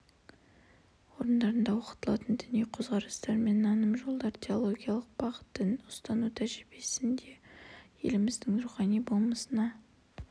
орындарында оқытылатын діни қөзқарастар мен наным жолдары теологиялық бағыт дін ұстану тәжірибесі еліміздің рухани болмысына